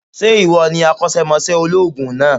Sé ìwọ ni akósémosé olóòògùn náà